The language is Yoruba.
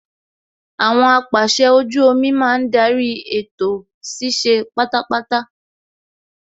Àwọn apàsẹ ojú omi máa ń darí ètò ṣíṣe pátápátá